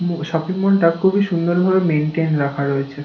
ম shopping mall -টা খুবই সুন্দরভাবে মেন্টেন রাখা রয়েছে।